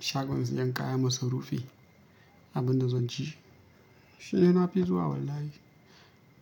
Shagon siyan kayan masarufi, abun da zan ci shidai na fi zuwa wallahi.